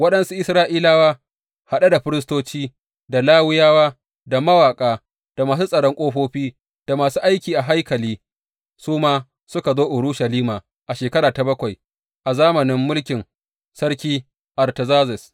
Waɗansu Isra’ilawa, haɗe da firistoci, da Lawiyawa, da mawaƙa, da masu tsaron ƙofofi, da masu aiki a haikali su ma suka zo Urushalima a shekara ta bakwai a zamanin mulkin sarki Artazerzes.